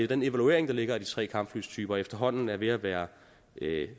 den evaluering der ligger af de tre kampflytyper efterhånden er ved at være